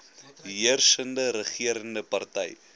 heersende regerende party